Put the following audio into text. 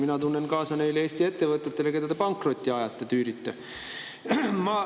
Mina tunnen kaasa neile Eesti ettevõtetele, keda te pankrotti tüürite.